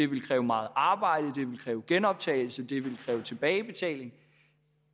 vil kræve meget arbejde genoptagelse og tilbagebetaling